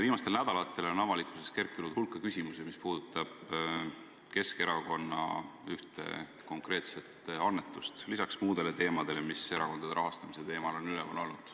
Viimastel nädalatel on avalikkuses kerkinud hulk küsimusi selle kohta, mis puudutab Keskerakonna ühte konkreetset annetust, lisaks muudele teemadele, mis erakondade rahastamise teemal on üleval olnud.